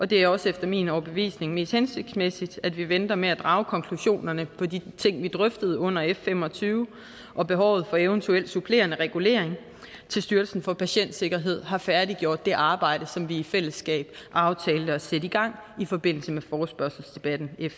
det er også efter min overbevisning mest hensigtsmæssigt at vi venter med at drage konklusionerne på de ting vi drøftede under f fem og tyve og behovet for eventuel supplerende regulering til styrelsen for patientsikkerhed har færdiggjort det arbejde som vi i fællesskab aftalte at sætte i gang i forbindelse med forespørgselsdebatten f